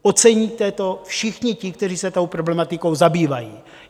Oceníte to všichni ti, kteří se tou problematikou zabývají.